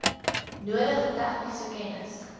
nodige tegniese kennis